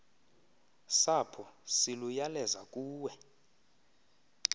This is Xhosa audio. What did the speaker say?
sapho siluyaleza kuwe